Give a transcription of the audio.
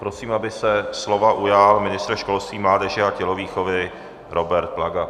Prosím, aby se slova ujal ministr školství, mládeže a tělovýchovy Robert Plaga.